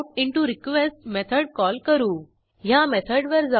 आपण तपासू युझरेक्सिस्ट्स 1 आणि return book is not equal to null नसल्यास